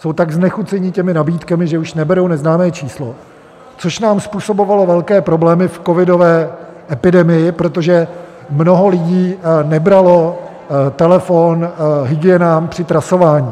Jsou tak znechuceni těmi nabídkami, že už neberou neznámé číslo, což nám způsobovalo velké problémy v covidové epidemii, protože mnoho lidí nebralo telefon hygienám při trasování.